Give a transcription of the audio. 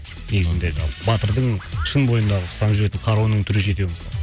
негізінде батырдың шын бойындағы ұстанып жүретін қаруының түрі жетеу